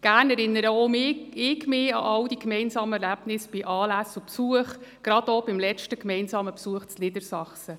Gerne erinnere auch ich mich auch an all die gemeinsamen Erlebnisse bei Anlässen und Besuchen, gerade auch an den letzten gemeinsamen Besuch in Niedersachsen.